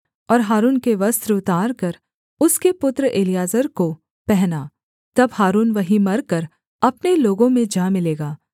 और हारून के वस्त्र उतारकर उसके पुत्र एलीआजर को पहना तब हारून वहीं मरकर अपने लोगों में जा मिलेगा